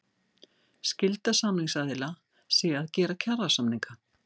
Skylda samningsaðila sé að gera kjarasamninga